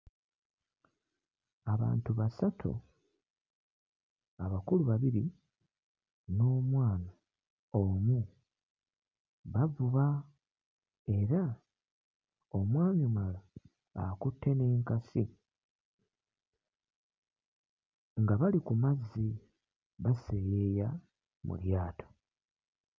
Abantu basatu abakulu babiri n'omwana omu bavuba era omwami ono akutte n'enkasi nga bali ku mazzi baseeyeeya mu lyato.